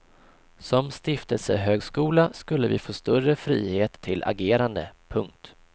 Som stiftelsehögskola skulle vi få större frihet till agerande. punkt